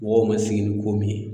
Mɔgɔw ma sigi ni ko min ye